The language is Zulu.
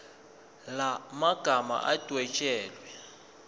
la magama adwetshelwe